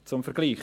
Zum Vergleich: